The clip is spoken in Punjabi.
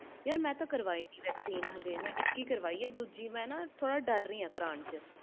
ਯਾਰ ਮੈਂ ਤੇ ਇਕ ਹੀ ਕਾਰਵਾਈ vaccine ਆ ਦੁਜੀ ਕਰਵਾਨ ਤੋਂ ਡਰ ਰਹੀ ਆ